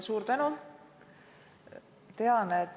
Suur tänu!